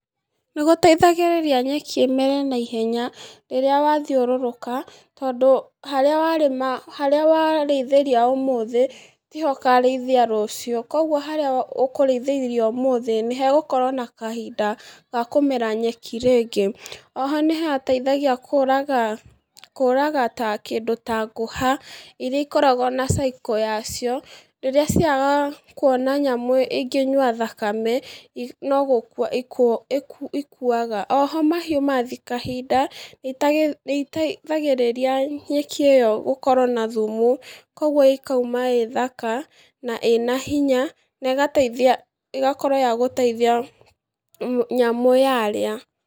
Nĩgũteithagĩríria nyeki ĩmere naihenya, rĩrĩa yathiũrũrũka, tondũ harĩa warĩma harĩa warĩithĩria ũmũthĩ, tiho úkarĩithĩria rũciũ, koguo harĩa wa ũkũrĩithĩrie ũmũthĩ nĩhegũkorwo na kahinda ga kũmera nyeki rĩngĩ, oho nĩhateithagia kũ, kũraga ta kĩndũ ta ngũha, iria ikoragwo na cycle yacio, iria ciagaga kuona nyamũ ingĩnyua thakame, i nogũku i ikuaga oho mahiũ mathi kahinda, nĩta nĩiteithagĩrĩria nyeki ĩyo gũkowo na thumu, koguo ikauma ĩ thaka, na ĩna hinya, negateithia, ĩgakorwo yagũteithia nyamũ yarĩa.